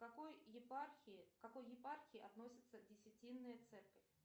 к какой епархии к какой епархии относится десятинная церковь